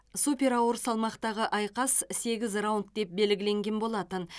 супер ауыр салмақтағы айқас сегіз раунд деп белгіленген болатын